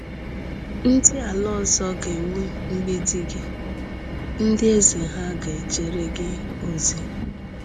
Ndị ala ọzọ ga-ewu mgbidi gị, ndị eze ha ga-ejere gị ozi.